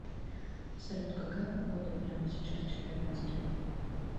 салют какая погода прямо сейчас в челябинске